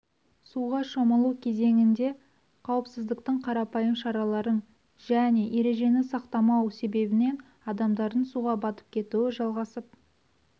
суға шомылу кезеңінде қауіпсіздіктің қарапайым шараларын және ережені сақтамау себебінен адамдардың суға батып кетуі жалғасып